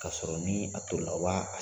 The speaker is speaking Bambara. Kasɔrɔ ni a tolila u b'a